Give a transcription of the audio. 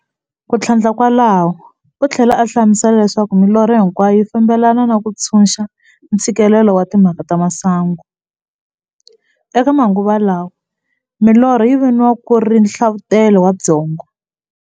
Kuthlandla kwalaho uthlela a hlamusela leswaku milorho hinkwayo yi fambelana na ku ntshunxa ntshikelelo wa timhaka ta masangu. Eka manguva lawa milorho yi viniwa ku ri nhlavutelo wa byongo.